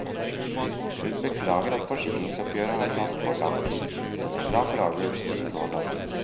Hun beklager at forsikringsoppgjøret har tatt for lang tid, men er glad for avgjørelsen som nå er tatt.